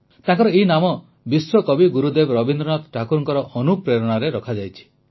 ତାଙ୍କର ଏହି ନାମ ବିଶ୍ୱକବି ଗୁରୁଦେବ ରବୀନ୍ଦ୍ରନାଥ ଠାକୁରଙ୍କ ଅନୁପ୍ରେରଣାରେ ରଖାଯାଇଛି